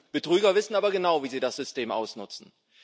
Betrüger wissen aber genau, wie sie das System ausnutzen.